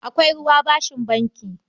Akwai ruwa bashin banki.